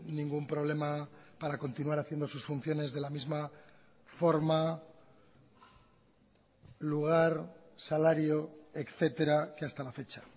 ningún problema para continuar haciendo sus funciones de la misma forma lugar salario etcétera que hasta la fecha